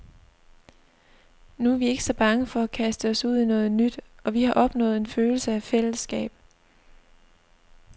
Nu er vi ikke så bange for at kaste os ud i noget nyt, og vi har opnået en følelse af fællesskab.